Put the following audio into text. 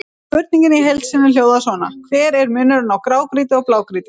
Spurningin í heild sinni hljóðaði svona: Hver er munurinn á grágrýti og blágrýti?